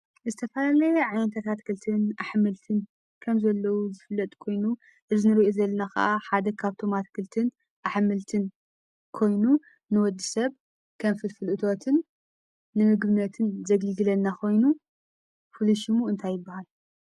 ዝተፈላለየ ዓይነታት አትክልትን አሕምልትን ከምዘለው ዝፍለጥ ኮይኑ እዚ ንሪኦ ዘለና ከዓ ሓደ ካብቶም እትክልትን አሕምልትን ኮይኑ ንወድሰብ ከም ፍልፍል እቶትን ንምግብነትን ዘገልግለና ኮይኑ ፍሉይ ሽሙ እንታይ ይበሃል?